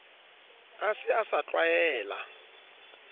a se a sa tlwaela